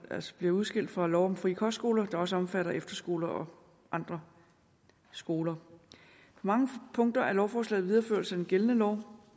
altså bliver udskilt fra lov om frie kostskoler der også omfatter efterskoler og andre skoler på mange punkter er lovforslaget en videreførelse af den gældende lov